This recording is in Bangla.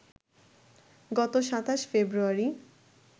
গত ২৭ ফেব্রুয়ারি